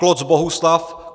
Kloc Bohuslav